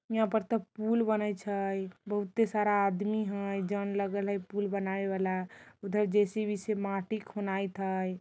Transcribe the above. यहाँ पर त पूल बने छइ बहुत ही सारा आदमी हइ जन लगल हइ पूल बनाईवाला| उधर जे_सी_बी से माटी खुनाइत हइ।